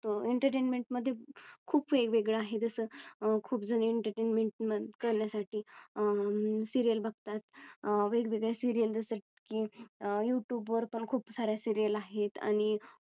Entertainment मध्ये खूप वेगवेगळं आहेत असं खूप जुनी Entertainment करण्यासाठी आह सिरियल बघतात. अं वेगवेगळ्या सीरिअल जसं की आह यूट्यूब वर पण खूप साऱ्या Serial आहेत आणि